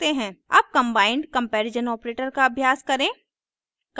अब combined comparison operator का अभ्यास करें